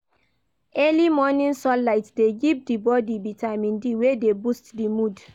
Early morning sunlight de give di bodi vitamin D wey de boost di mood